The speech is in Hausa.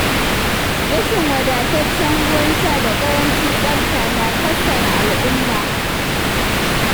Rashin wadataccen ruwan sha da ƙarancin tsafta na kassara al'umma.